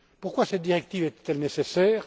Pourquoi cette directive est elle nécessaire?